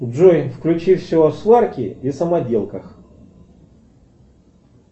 джой включи все о сварке и самоделках